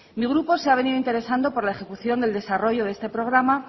mi grupo se ha venido interesando por la ejecución del desarrollo de este programa